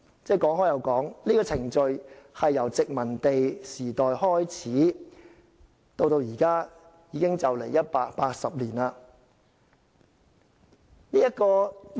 這個程序由殖民地時代開始運作，至今已接近180年。